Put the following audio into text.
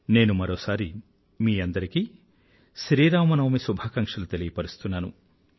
నేను మరోసారి మీ అందరికీ శ్రీరామనవమి శుభాకాంక్షలు తెలియపరుస్తున్నాను